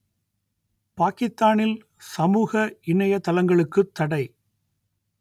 பாக்கித்தானில் சமூக இணையதளங்களுக்குத் தடை